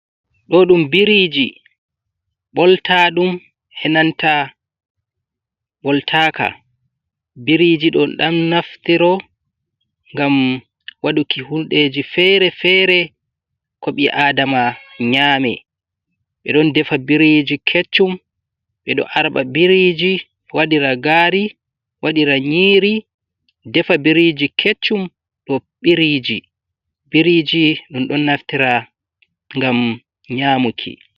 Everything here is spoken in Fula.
Do ɗum biriji ɓolta ɗum e nanta boltaka biriji ɗon ɗam naftiro ngam waɗuki hundeji fere fere ko ɓi adama nyaame. Ɓe ɗon defa biriji keccum, ɓe ɗo arɓa biriji waɗira gaari, waɗira nyiiri, defa biriji keccum ɗo biriji biriji ɗum ɗon naftira ngam nyamuki.